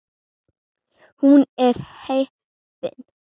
Hún er heppin.